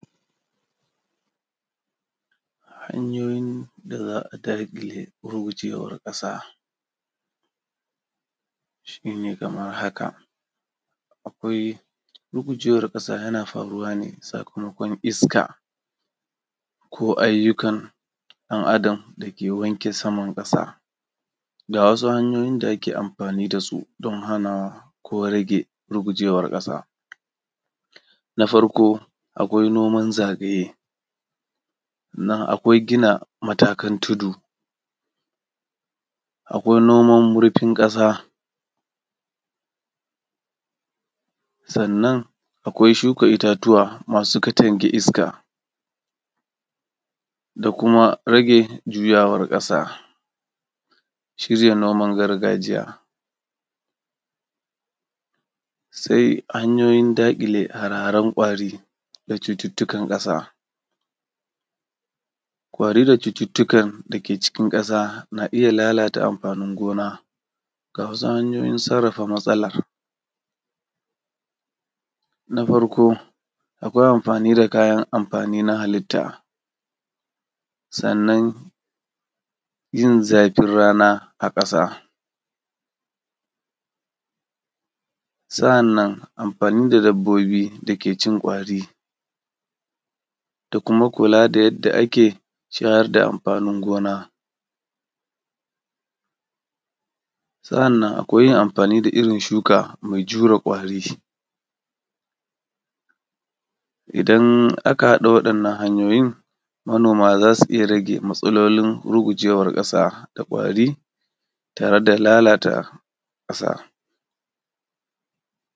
Hanyoyin da za’a daƙile hujewar ƙasa, shine kamar haka. Akwai hujewar ƙasa yana faruwa ne bisa dogon iska ko ayyukan ɗan Adam dake wanke saman ƙasa. Ga wasu hanyoyin da ka amfani dasu dan hana ko rage hujewar ƙasa. Na farko akwai noman zane, sannan akwai gina matakan tudu, akwai noman hurtun ƙasa sannan akwai shuka ittatuwa masu katange iska da kuma rage juyawar ƙasa cije noman gargajiya. Sai hanyoyin daƙile hare haren kwari da cututtukan ƙasa, kwari da cututtukan dake cikin ƙasa na iyya lalata amfanin gona. Ga wasu hanyoyin sarrafa matsala na farko akwai amfani da kayan mafani na halitta, sannan yin zafin rana a ƙasa, sa’annan amfani da dabbobi da kecin kwari da kuma kula da yadda ake shayar da amfanin gona, sa’annan akwai amfani da irrin shuka mai jure kwari idan aka haɗa waɗannan hanyoyin manoma zasu iyya rage matsalolin rugewar ƙasa da kwari tare da lalata ƙasa.